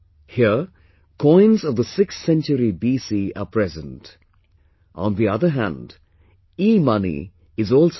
Here coins of the sixth century BC are present; on the other hand, eMoney is also present